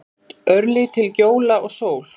Örlítil gjóla og sól.